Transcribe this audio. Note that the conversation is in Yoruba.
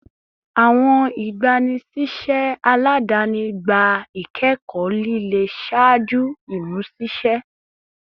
Awọn igbanisiṣẹ aladani gba ikẹkọ lile ṣaaju imuṣiṣẹ